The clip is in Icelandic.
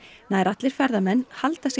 nær allir ferðamenn halda sig